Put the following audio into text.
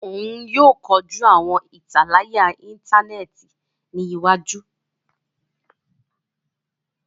Òún yóò kọjú awọn italaya intaneti ní iwájú.